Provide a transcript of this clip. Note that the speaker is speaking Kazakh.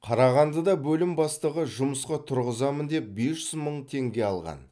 қарағандыда бөлім бастығы жұмысқа тұрғызамын деп бес жүз мың теңге алған